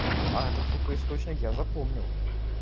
а этот сука источник я запомнил